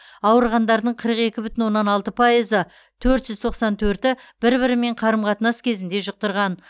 ауырғандардың қырық екі бүтін оннан алты пайызы төрт жүз тоқсан төрті бір бірімен қарым қатынас кезінде жұқтырған